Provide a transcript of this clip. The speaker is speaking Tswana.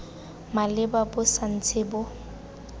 maleba bo sa ntse bo